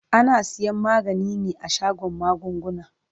Ana siyan magani ne a shagon magunguna.